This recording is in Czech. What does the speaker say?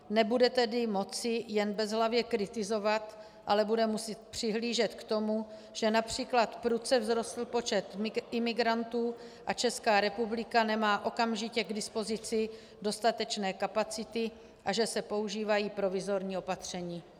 Nebude tedy moci jen bezhlavě kritizovat, ale bude muset přihlížet k tomu, že například prudce vzrostl počet imigrantů a Česká republika nemá okamžitě k dispozici dostatečné kapacity a že se používají provizorní opatření.